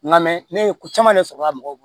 Nka mɛ ne ye ko caman de sɔrɔ la mɔgɔw bolo